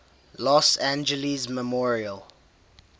los angeles memorial